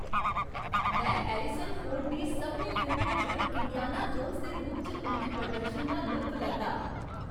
में Harrison Ford दी सभनें फिल्में च इंडियाना जोन्स दे रूप च उं'दे प्रदर्शन दा लुत्फ लैता।